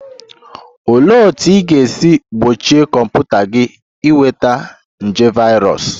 Olee otú ị ga-esi gbochie kọmputa gị ịnweta nje virus?